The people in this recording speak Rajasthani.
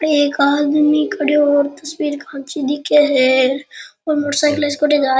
एक आदमी खड्यो तस्वीर खींची दिखे है --